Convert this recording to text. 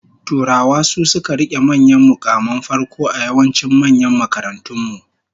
Turawa su suka rike manyan mukaman farko a yawancin manyan makarantun mu